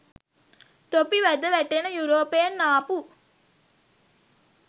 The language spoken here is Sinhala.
තොපි වැද වැටෙන යුරෝපෙන් ආපු